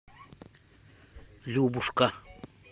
любушка